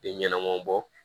Den ɲɛnamaw bɔ